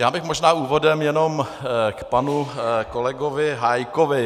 Já bych možná úvodem jenom k panu kolegovi Hájkovi.